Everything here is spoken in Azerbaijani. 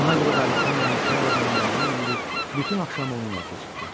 Buna görə də Aleksandr Mixaylovun yanına yüyürüb bütün axşamı onunla keçirtdim.